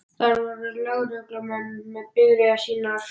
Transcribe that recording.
Þar voru lögreglumenn með bifreiðar sínar.